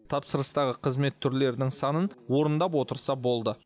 тапсырыстағы қызмет түрлерінің санын орындап отырса болды